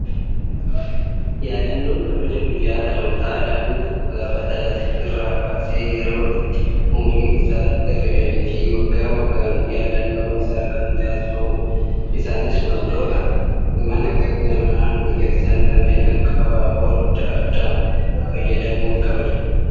Yaadannoon kabaja guyyaa dhalootaa, daa'imni tokko gaafa dhalate irraa kaasee yeroo itti umuriin isaa herreegameefii, waggaa waggaan yaadannoon isaan kan taasisamudha. Isaanis waantota mana namaa miidhagsan kanneen akka abaaboo addaa addaan fayyadamuun kabajamu.